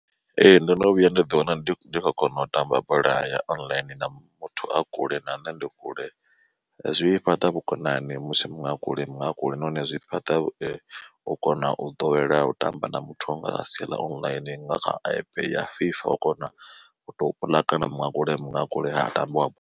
Ee ndono vhuya nda ḓi wana ndi kho kona u tamba bola ya online na muthu a kule na nṋe ndi kule. Zwi fhaṱa vhukonani musi muṅwe a kule mu a kule nahone zwi fhaṱa u kona u ḓowela u tamba na muthu anga sia ḽa online nga kha app ya FIFA u kona u to puḽakana muṅwe a kule muṅwe a kule ha tambiwa.